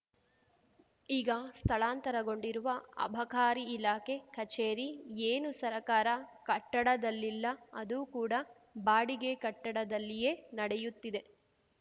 ಈಗ ಸ್ಥಳಾಂತರಗೊಂಡಿರುವ ಅಬಕಾರಿ ಇಲಾಖೆ ಕಚೇರಿ ಏನು ಸರಕಾರ ಕಟ್ಟಡದಲ್ಲಿಲ್ಲ ಅದು ಕೂಡಾ ಬಾಡಿಗೆ ಕಟ್ಟಡದಲ್ಲಿಯೇ ನಡೆಯುತ್ತಿದೆ